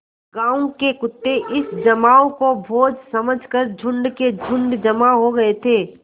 गाँव के कुत्ते इस जमाव को भोज समझ कर झुंड के झुंड जमा हो गये थे